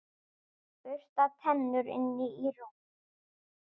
Bursta tennur, inn í rúm.